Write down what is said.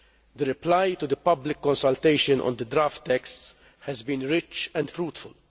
The reply to the public consultation on the draft texts has been rich and fruitful.